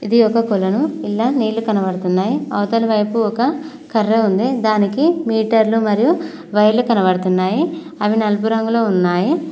ఇది ఒక కొలను ఇంద్ల నీళ్లు కనబడుతున్నాయి అవతలి వైపు ఒక కర్ర ఉంది దానికి మీటర్లు మరియు వైర్లు కనబడుతున్నాయి అవి నలుపు రంగులో ఉన్నాయి.